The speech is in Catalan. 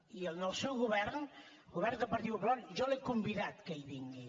i al seu govern el govern del partit popular jo l’he convidat que hi vingui